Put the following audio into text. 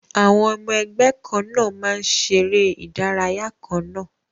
Àwọn ọmọ ẹgbẹ́ kan náà máa ń ṣeré ìdárayá kan náà